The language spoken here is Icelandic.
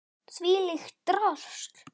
Þvílíkt drasl!